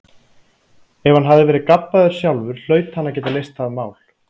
Ef hann hafði verið gabbaður sjálfur hlaut hann að geta leyst það mál.